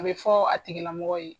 An bɛ fɔ a tigi lamɔgɔ ye.